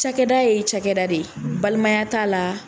Cakɛda ye cakɛda de ye balimaya t'a la.